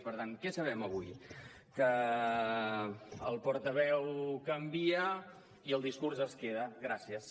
per tant què sabem avui que el portaveu canvia i el discurs es queda gràcies